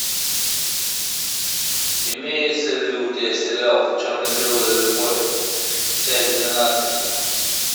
имеется ли у тебя сериал черно белая любовь часть двенадцать